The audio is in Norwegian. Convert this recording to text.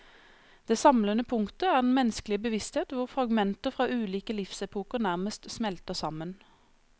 Det samlende punktet er den menneskelige bevissthet hvor fragmenter fra ulike livsepoker nærmest smelter sammen.